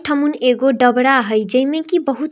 ठमून एगो डबरा हय जैमें की बहुत --